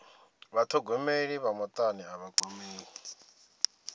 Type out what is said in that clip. vhathogomeli vha mutani a vha kwamei